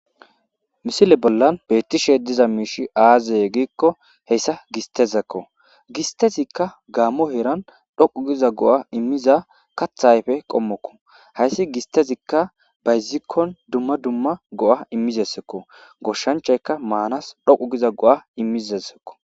Misile bollan beettishe diza miishi aazey giikko heyssa gistezekko gistezikka gaammo heeran dhoqu giza go7a immiza kathayfe qommokko hayssi gistezikka bayzikkon dumma dumma go7a immizesekko goshshanchayka maanas dhoqu giza go7a immizesekko